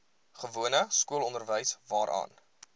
gewone skoolonderwys waarvan